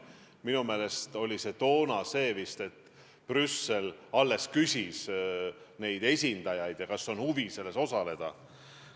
Minu meelest oli toona vist nii, et Brüssel alles küsis meie esindajatelt, kas on huvi selles osaleda.